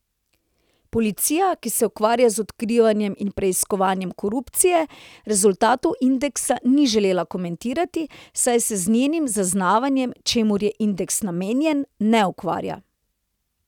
Policija, ki se ukvarja z odkrivanjem in preiskovanjem korupcije, rezultatov indeksa ni želela komentirati, saj se z njenim zaznavanjem, čemur je indeks namenjen, ne ukvarja.